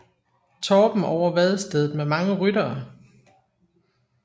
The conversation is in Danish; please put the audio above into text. Torben over vadestedet med mange ryttere